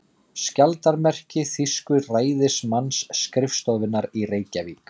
Skjaldarmerki þýsku ræðismannsskrifstofunnar í Reykjavík.